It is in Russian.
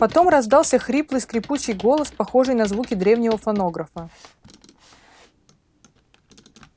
потом раздался хриплый скрипучий голос похожий на звуки древнего фонографа